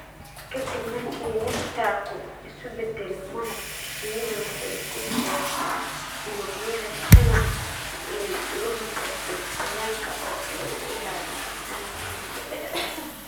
Ka dib markii nectar-ku isu beddelo malab, shinnidu waxay ku dabooshaa unugyada shamac si ay uga hortagto qoyaanka oo ay u ilaaliso malabka muddo dheer.